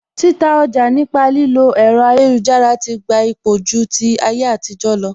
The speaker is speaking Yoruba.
Títa ọjà nípa lílo ẹ̀rọ ayélujára ti gba ipò ju ti ayétijọ lọ